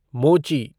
मोची